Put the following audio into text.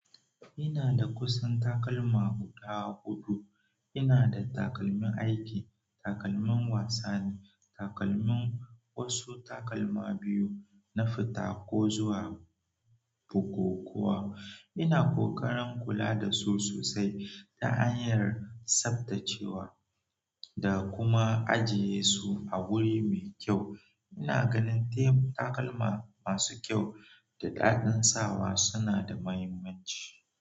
Ina da kusan takalma guda huɗu. Ina da takalmin aiki, takalmin wasani, takalmin wasu takalma biyu na fita ko zuwa bukukuwa. Ina kokarin kula da su sosai ta hanyar tsaftacewa da kuma ajiye su a wuri mai kyau. Ina ganin taim takalma masu kyau da danɗin sawa suna da mahimmanci.